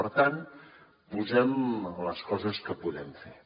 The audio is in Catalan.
per tant posem les coses que podem fer